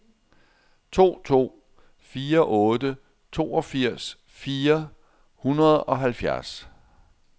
to to fire otte toogfirs fire hundrede og halvfjerds